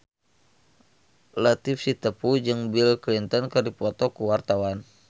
Latief Sitepu jeung Bill Clinton keur dipoto ku wartawan